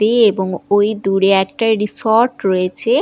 এবং ওই দূরে একটা রিসোর্ট রয়েছে।